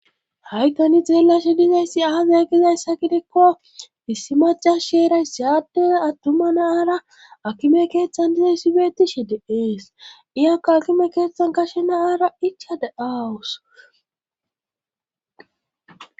Haysani xeellashe dizayssi aaze gizayssa gidekko issi macas sheeray saaddee attuma naaara akime keeththan dizay issibeeti shi diees iyakka akime keeththan kashe naaara ichade7aawus.